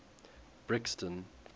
brixton